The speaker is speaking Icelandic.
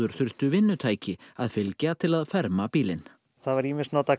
þurftu vinnutæki að fylgja til að ferma bílinn það var ýmist notaður